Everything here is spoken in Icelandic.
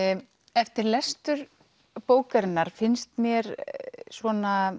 eftir lestur bókarinnar finnst mér svona